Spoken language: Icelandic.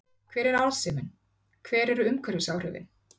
Hver er arðsemin, hver eru umhverfisáhrifin?